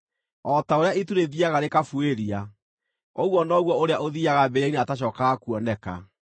O ta ũrĩa itu rĩthiiaga rĩkabuĩria, ũguo noguo ũrĩa ũthiiaga mbĩrĩra-inĩ atacookaga kuoneka.